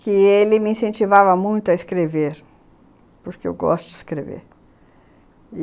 que ele me incentivava muito a escrever, porque eu gosto de escrever.